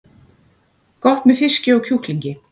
Gott með fiski og kjúklingi